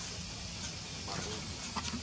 marobi